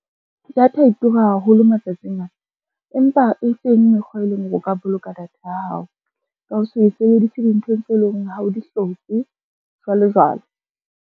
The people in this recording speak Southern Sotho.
Data e tura haholo matsatsing a, empa e teng mekgwa e leng hore o ka boloka data ya hao, ka ho se e sebedise dinthong tse leng hore ha o di hloke, jwalo jwalo.